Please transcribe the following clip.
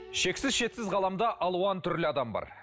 шексіз шетсіз ғаламда алуан түрлі адам бар